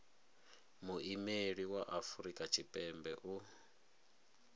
muimeli wa afrika tshipembe u